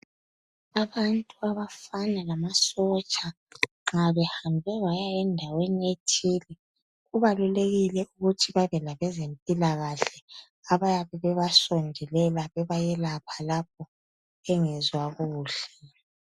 Abantu abafana lamasotsha nxa behambe baya endaweni ethile kubalulekile ukuthi babe labezempilakahle abayabe bebasondelela bebayelapha lapho bengezwa kuhle.